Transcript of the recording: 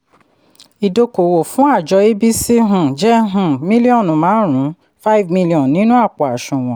idokòwò fún àjọ abc um jẹ́ um míllíọ̀nù márùn-ún five million nínú àpò àṣùwọ̀n.